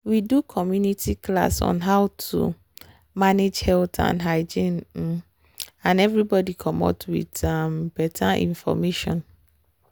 we do community class on how to manage menstrual health and hygiene um and everybody comot with um better information.